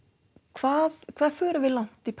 hvað hvað förum við langt í